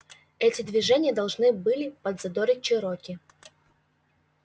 эти движения должны были подзадорить чероки